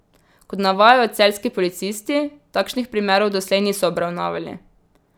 Kot navajajo celjski policisti, takšnih primerov doslej niso obravnavali.